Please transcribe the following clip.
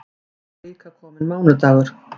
Þá var líka kominn mánudagur.